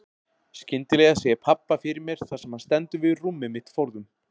Skyndilega sé ég pabba fyrir mér þar sem hann stendur við rúmið mitt forðum.